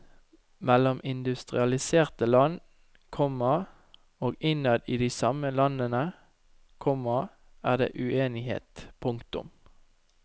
Mellom industrialiserte land, komma og innad i de samme landene, komma er det uenighet. punktum